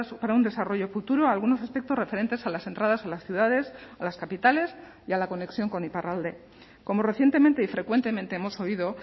para un desarrollo futuro algunos aspectos referentes a las entradas a las ciudades a las capitales y a la conexión con iparralde como recientemente y frecuentemente hemos oído